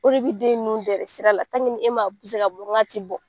O de bɛ den nu deɛrɛ sira la e m'a ka bɔ, n k'a ti bɔ